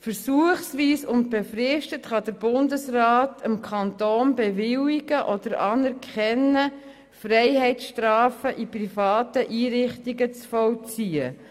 Versuchsweise und befristet kann der Bundesrat dem Kanton bewilligen oder es anerkennen, Freiheitsstrafen in privaten Einrichtungen zu vollziehen.